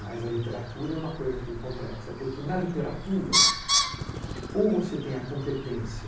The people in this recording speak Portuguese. Mas a literatura é uma coisa complexa, porque na literatura ou você tem a competência